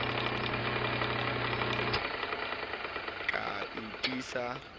ke a tiisa ke a